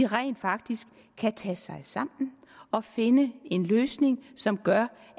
rent faktisk kan tage sig sammen og finde en løsning som gør